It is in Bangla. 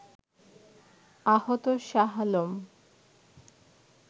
আহত শাহ আলম